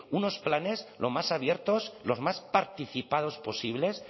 unos planes lo más abiertos lo más participados posibles